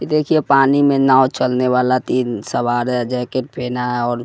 देखिए पानी में नाव चलने वाला तीन सवार है जैकेट पहना है और--